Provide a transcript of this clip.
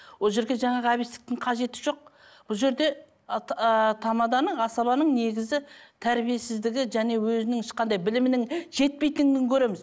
ол жерге жаңағы әбестіктің қажеті жоқ бұл жерде тамаданың асабаның негізі тәрбиесіздігі және өзінің ешқандай білімінің жетпейтіндігін көреміз